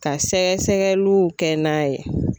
Ka sɛgɛsɛgɛliw kɛ n'a ye.